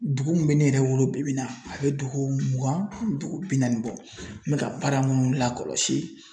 Dugu min bɛ ne yɛrɛ wolo bi bi in na a bɛ dugu mugan ani dugu bi naani bɔ n bɛ ka baara minnu lakɔlɔsi.